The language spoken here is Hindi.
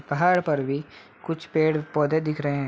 पहाड़ पर भी कुछ पेड़-पौधे दिख रहे हैं।